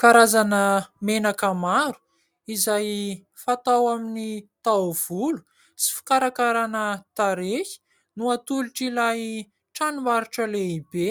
Karazana menaka maro izay fatao amin'ny taovolo sy fikarakarana tarehy no atolotr'ilay tranombarotra lehibe